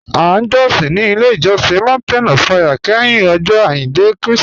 À jọ̀sìn ní ilẹ̀ ìjọ̀sìn Mountain of Fire kẹ́hìn Ọ̀jọ̀ Ajíndẹ̀ Kristi